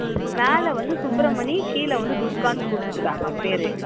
மேல வந்து சுப்ரமணி கீழ வந்து துர்கானு குடுத்துருக்காங்க பேரு